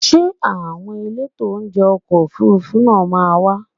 Ṣé àwọn elétò oúnjẹ ọkọ̀ Òfurufú náà máa wá?